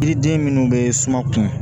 Yiriden minnu bɛ suma kun